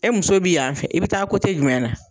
E muso b'i yan fɛ e bi taa kote jumɛn na